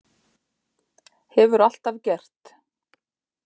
Hefur alltaf gert.